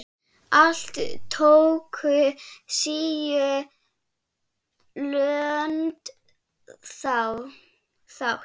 Alls tóku tíu lönd þátt.